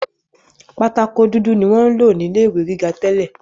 Pátákó dúdú ni wọ́n ń lò ní ilé ìwé gíga tẹ́lẹ̀